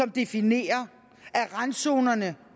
definerer randzonerne